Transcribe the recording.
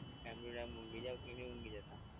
Time to time ઊંઘી જાવ કે નહીં ઊંઘી જતાં?